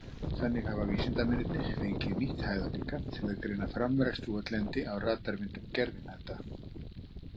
Þannig hafa vísindamennirnir fengið nýtt hæðarlíkan til að greina framræst votlendi á radarmyndum gervihnatta